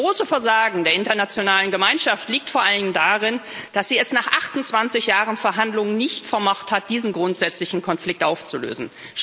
Das große Versagen der internationalen Gemeinschaft liegt vor allem darin, dass sie es nach 28 Jahren Verhandlungen nicht vermocht hat, diesen grundsätzlichen Konflikt aufzulösen.